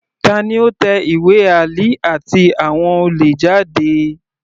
Tani ó tẹ ìwé Ali àti àwọn olè jáde?